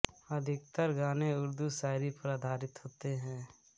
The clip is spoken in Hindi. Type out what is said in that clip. अधिकतर गाने उर्दू शायरी पर आधारित होते हैं